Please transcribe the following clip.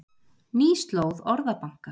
Ný slóð Orðabanka